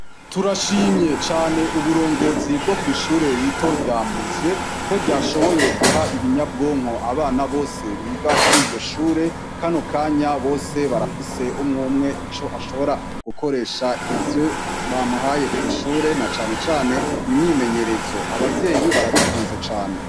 Turashimye cane uburongozi bwo kw'ishure rito rya Muzye ko ryashoboye guha ibinyabwonko abana bose biga kuri iryo shure kano kanya bose barafise umwumwe wese ico ashobora gukoresha ivyo bamuhaye kw'ishure na cane cane imyimenyerezo. Abavyeyi barabikunze cane.